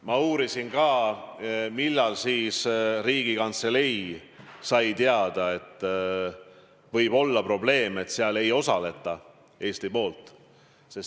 Ma uurisin ka, millal Riigikantselei sai teada, et võib tekkida probleem, et Jeruusalemmas pole Eesti esindatud.